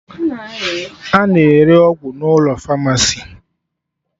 A na-ere ọgwụ n'ụlọ famasi